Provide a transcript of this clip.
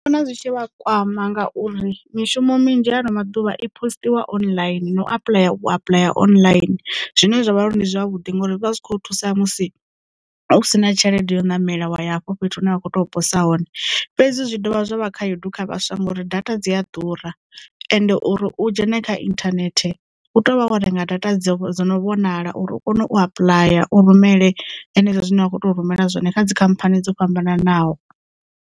Ndi vhona zwi tshi vha kwama ngauri mishumo minzhi hano maḓuvha i postiwa online na u apuḽaya u apulaya online zwine zwavha uri ndi zwavhuḓi ngori zwi vha zwikho thusa musi u si na tshelede ya u ṋamela wa ya hafho fhethu hune vha kho tea u posa hone fhedzi dzi zwi dovha zwavha khayedu kha vhaswa ngori data dzi a ḓura ende uri u dzhena kha internet hu tea uvha wo renga data dzo dzo no vhonala uri u kone u apuḽaya u rumele henezwo zwine wa kho teo rumela zwone kha dzikhamphani dzo fhambananaho.